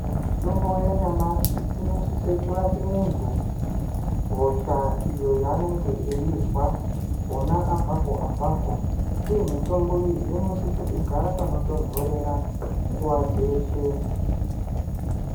Mitombo yanyamashi inosise kurape muntu hosha iyo yaanenge eizwa gona apo ngepapo. Iyo mitombo iyi inosise kugara panotonhorera nguva dzeshe.